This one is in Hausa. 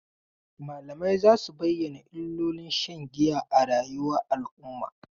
Malamai za su bayyana illolin shan giya a rayuwar al'umma.